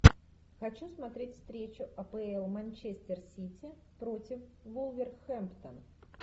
хочу смотреть встречу апл манчестер сити против вулверхэмптон